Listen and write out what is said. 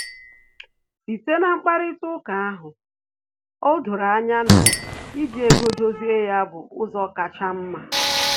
Site na mkparịta uka ahụ, o doro anya na iji ego dozie ya bụ ụzọ kacha mma